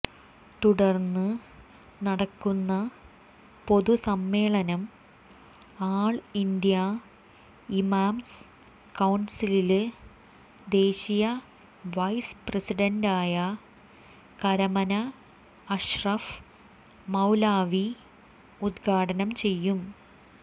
തുടര്ന്ന് നടക്കുന്ന പൊതുസമ്മേളനം ആള് ഇന്ത്യ ഇമാംസ് കൌണ്സില് ദേശീയ വൈസ് പ്രസിഡന്റ് കരമന അഷ്റഫ് മൌലവി ഉദ്ഘാടനം ചെയ്യും